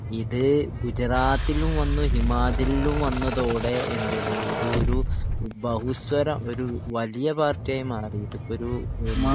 ഇത് ഗുജറാത്തിലും വന്നു ഹിമാചലിലും വന്നതോടെ എന്തേത് ഇത് ഒരു ബഹുസര ഒരു വലിയ പാർട്ടി ആയി മാറിയത് അപ്പോ ഒരു